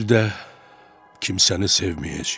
Bir də kimsəni sevməyəcəyəm.